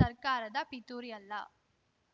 ಸರ್ಕಾರದ ಪಿತೂರಿ ಅಲ್ಲ